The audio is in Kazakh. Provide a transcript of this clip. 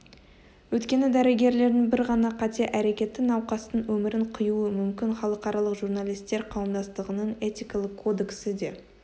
өйткені дәрігерлердің бір ғана қате әрекеті науқастың өмірін қиюы мүмкін халықаралық журналистер қауымдастығының этикалық кодексі де